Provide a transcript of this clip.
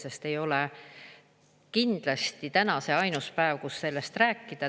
Aga ei ole kindlasti täna see ainus päev, kus sellest rääkida.